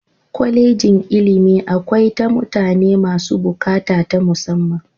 Kwallejin ilimi akwai ta mutane masu bukata ta musamman.